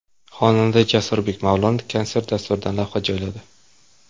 Xonanda Jasurbek Mavlonov konsert dasturidan lavha joyladi.